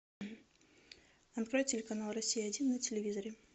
открой телеканал россия один на телевизоре